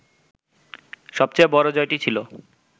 সবচেয়ে বড় জয়টি ছিল